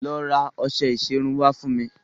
Lọ ra ọṣẹ ìṣerun wá fún mi.